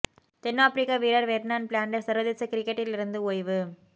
தென் Africa வீரர் Vernon Philander சர்வதேச கிரிக்கெட்டில் இருந்து ஓய்வு